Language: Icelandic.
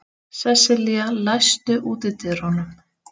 Sesselía, læstu útidyrunum.